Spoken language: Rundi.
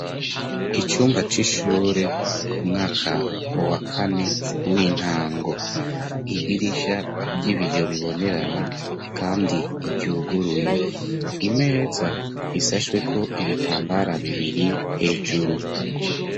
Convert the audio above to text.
Icumba c'ishure umwaka wa kane w'intango idirisha ry'ibiyo bibonerana kandi ryuguruye imeza isashweko ibitambara bibiri hejuru.